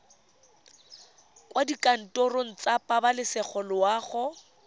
kwa dikantorong tsa pabalesego loago